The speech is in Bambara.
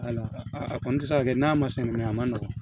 Wala a kɔni tɛ se ka kɛ n'a ma sɔn mɛ a man nɔgɔn